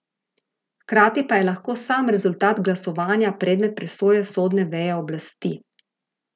Hkrati pa je lahko sam rezultat glasovanja predmet presoje sodne veje oblasti.